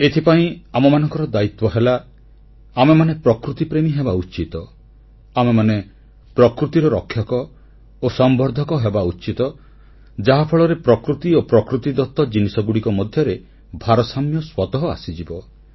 ଏଥିପାଇଁ ଆମମାନଙ୍କର ଦାୟିତ୍ୱ ହେଲା ଆମେମାନେ ପ୍ରକୃତିପ୍ରେମୀ ହେବା ଉଚିତ ଆମେମାନେ ପ୍ରକୃତିର ରକ୍ଷକ ଓ ସଂବର୍ଦ୍ଧକ ହେବା ଉଚିତ ଯାହାଫଳରେ ପ୍ରକୃତି ଓ ପ୍ରକୃତିଦତ ଜିନିଷଗୁଡ଼ିକ ମଧ୍ୟରେ ଭାରସାମ୍ୟ ସ୍ୱତଃ ଆସିଯିବ